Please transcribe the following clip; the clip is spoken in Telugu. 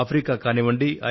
ఆఫ్రికా కానివ్వండి